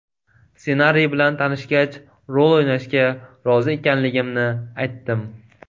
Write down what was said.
Ssenariy bilan tanishgach, rol o‘ynashga rozi ekanligimni aytdim.